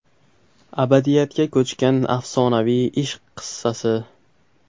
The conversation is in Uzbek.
Abadiyatga ko‘chgan afsonaviy ishq qissasi.